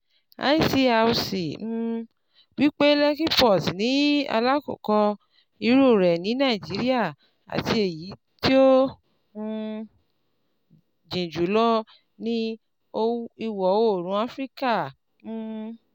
ICRC um wípé Lekki port ní alákọ̀ọ́kọ́ irú rẹ̀ ní Nàìjíríà àti ẹyí tó um jìn jùlọ ní ìwọ̀ oòrùn afirikà um